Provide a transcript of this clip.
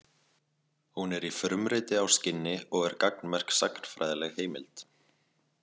Hún er í frumriti á skinni og er gagnmerk sagnfræðileg heimild.